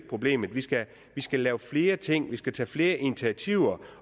problemet vi skal skal lave flere ting vi skal tage flere initiativer